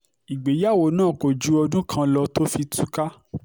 ìgbéyàwó náà kò ju ọdún kan lọ tó fi túká